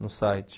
no site.